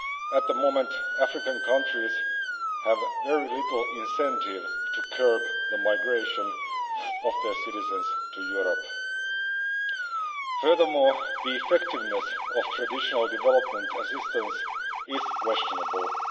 At the moment, African countries have very little incentive to curb the migration of their citizens to Europe. Furthermore, the effectiveness of traditional development assistance is questionable.